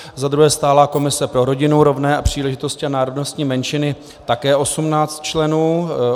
Za druhé stálá komise pro rodinu, rovné příležitosti a národnostní menšiny, také 18 členů.